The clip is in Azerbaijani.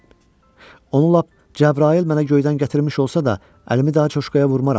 Onu lap Cəbrayıl mənə göydən gətirmiş olsa da, əlimi daha coşkaya vurmaram.